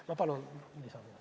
Ma palun lisaaega!